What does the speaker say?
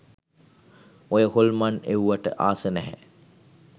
ඔය හොල්මන් එව්වට ආසා නැහැ